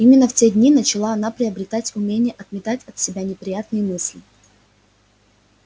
именно в те дни начала она приобретать умение отметать от себя неприятные мысли